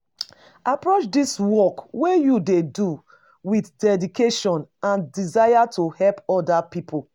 Approach di work wey you dey do with dedication and desire to help oda pipo